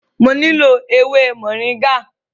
Mo nílò ewé Moringa.